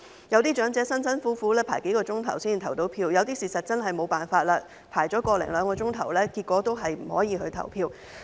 有些長者辛辛苦苦輪候數小時才成功投票，有些事實上真的沒有辦法，輪候了個多兩小時後，結果亦無法投票。